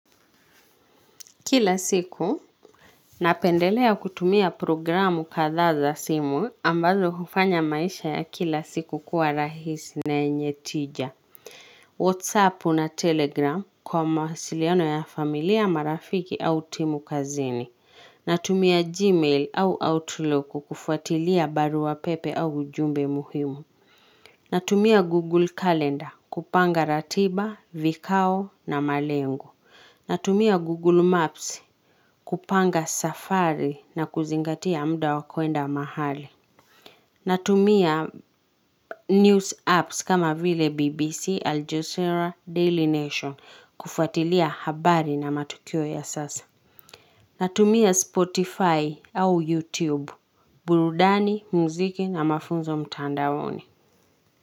Kila siku, napendelea kutumia programu kadhaaza simu ambazo hufanya maisha ya kila siku kuwa rahisi na yenyetija. Whatsappu na Telegram kwa mawasiliano ya familia marafiki au timu kazini. Natumia Gmail au Outlook kufuatilia barua pepe au ujumbe muhimu. Natumia Google Calendar kupanga ratiba, vikao na malengo. Natumia Google Maps kupanga safari na kuzingatia muda wakwenda mahali. Natumia news apps kama vile BBC, Aljazera, Daily Nation kufuatilia habari na matukio ya sasa. Natumia Spotify au YouTube. Burudani, muziki na mafunzo mtandaoni.